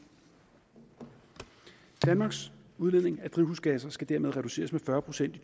danmarks udledning af drivhusgasser skal dermed reduceres med fyrre procent i